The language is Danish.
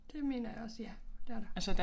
Det mener jeg også ja det er der